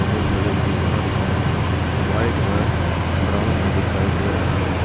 अगल बगल दीवार का रंग व्हाइट व ब्राउन में दिखाई दे रहा है।